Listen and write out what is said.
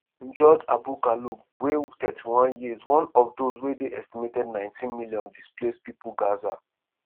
njoud abu kaloub wey 31 years one of those wey dey estimated 1.9 million displaced pipo gaza.